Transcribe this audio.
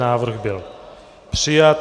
Návrh byl přijat.